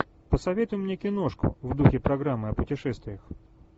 посоветуй мне киношку в духе программы о путешествиях